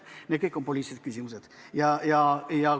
Need kõik on poliitilised küsimused.